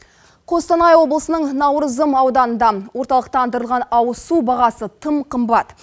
қостанай облысының наурызым ауданында орталықтандырылған ауыз су бағасы тым қымбат